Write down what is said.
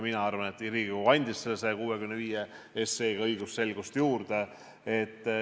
Mina arvan, et Riigikogu andis selle 165 SE-ga õigusselgust juurde.